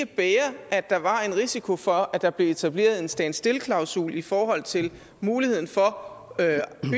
bære at der var en risiko for at der blev etableret en standstill klausul i forhold til muligheden for